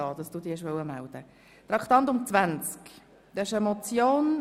» Das ist eine Richtlinienmotion.